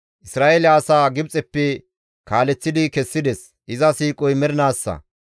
Isra7eele asaa Gibxeppe kaaleththi kessides; iza siiqoy mernaassa.